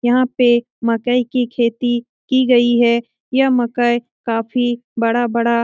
यहाँ पे मकई की खेती की गई है यह मकई काफी बड़ा-बड़ा --